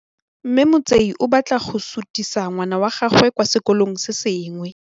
Mme Motsei o batla go sutisa ngwana wa gagwe kwa sekolong se sengwe.